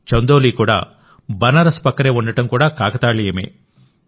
చందౌలీ కూడా బనారస్ పక్కనే ఉండడం కూడా కాకతాళీయమే